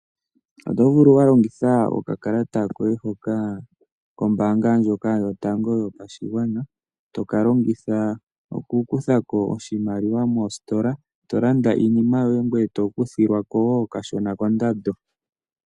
Oto vulu wa longitha oka kalata koye hoka kombaanga ndjoka yotango yopashigwana toka longitha oku kutha ko oshimaliwa moositola, to landa iinima yoye ngoye to kuthilwa ko wo kashona kondando.